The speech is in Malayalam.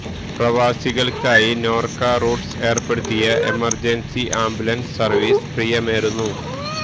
പ്രവാസികള്ക്കായി നോര്ക്ക റൂട്ട്സ് ഏര്പ്പെടുത്തിയ എമര്ജന്സി ആംബുലന്സ് സര്വീസിന് പ്രിയമേറുന്നു